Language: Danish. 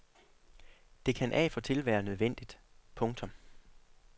Det kan af og til være nødvendigt. punktum